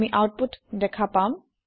আমি আওতপুত দেখা পাম